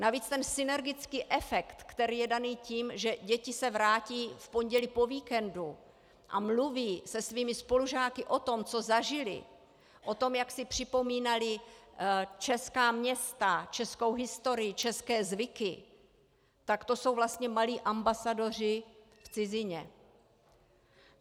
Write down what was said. Navíc ten synergický efekt, který je daný tím, že děti se vrátí v pondělí po víkendu a mluví se svými spolužáky o tom, co zažily, o tom, jak si připomínaly česká města, českou historii, české zvyky, tak to jsou vlastně malí ambasadoři v cizině.